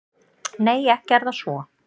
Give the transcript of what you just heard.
Nei, ekki er það svo.